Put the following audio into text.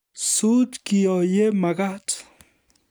Suut kiyo ye makat